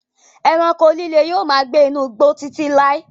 Ẹranko líle yóò máa gbé inú igbó Títí láí.